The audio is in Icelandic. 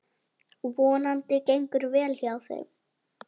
Vonandi gengur vel hjá þeim.